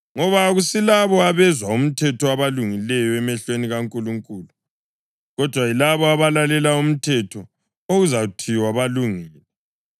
Ngoba akusilabo abezwa umthetho abalungileyo emehlweni kaNkulunkulu, kodwa yilabo abalalela umthetho okuzathiwa balungile.